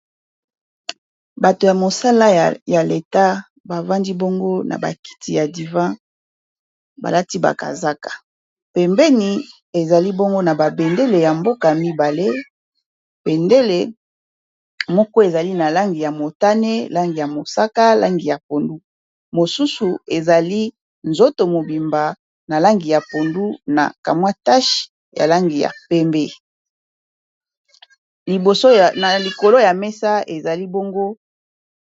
Bato ya mosala ya leta bavandi bongo na bakiti ya divan balati bakazaka, pembeni ezali bongo na ba bendele ya mboka ya mibale. Bendele moko ezali na langi ya motane, langi ya mosaka, langi ya pondu, mosusu ezali nzoto mobimba na langi ya pondu, na kamwa tashe ya langi ya pembe na likolo ya mesa ezali bongo.